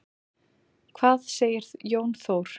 Hvað segir Jón Þór?